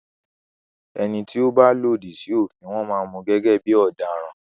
ẹní tó bà lòdì sí òfin wón má Mú gẹ́gẹ́ bí ọ̀daràn.